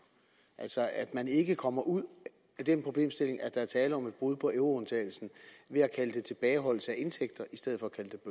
altså at man ikke kommer ud af den problemstilling at der er tale om et brud på euroundtagelsen ved at kalde det tilbageholdelse af indtægter i stedet